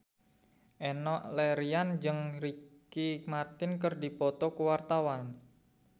Enno Lerian jeung Ricky Martin keur dipoto ku wartawan